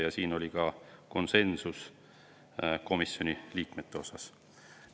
Ka selles oli komisjoni liikmete seas konsensus.